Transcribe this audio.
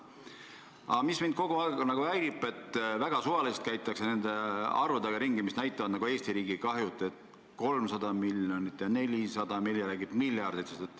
Aga mind häirib see, et väga suvaliselt käiakse ringi arvudega, mis näitavad nagu Eesti riigi kahju: 300 miljonit ja 400 miljonit, mõni räägib miljarditest.